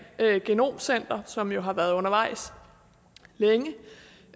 genomcenter som jo har været undervejs længe